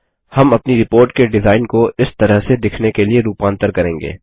हम अपनी रिपोर्ट के डिजाइन को इस तरह से दिखने के लिए रूपान्तर करेंगे